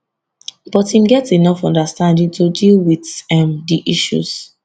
but im get enough understanding to deal wit um di issues